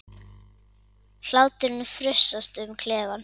Hláturinn frussast um klefann.